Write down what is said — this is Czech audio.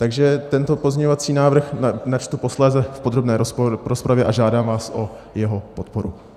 Takže tento pozměňovací návrh načtu posléze v podrobné rozpravě a žádám vás o jeho podporu.